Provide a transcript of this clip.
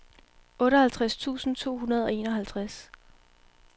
otteoghalvtreds tusind to hundrede og enoghalvtreds